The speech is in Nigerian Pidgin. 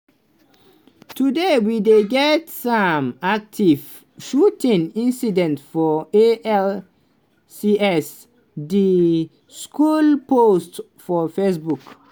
today we dey get an active shooting incident for alcs" di school post for faceboo